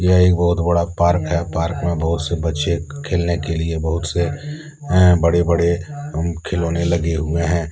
यह एक बहोत बड़ा पार्क है पार्क में बहुत से बच्चे के खेलने के लिए बहुत से हैं अ बड़े बड़े खिलौने लगे हुए हैं।